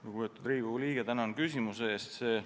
Lugupeetud Riigikogu liige, tänan küsimuse eest!